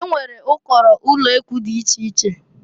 E nwere ụkọrọ ulekwu dị iche iche.